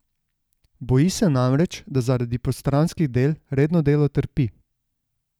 Boji se namreč, da zaradi postranskih del redno delo trpi.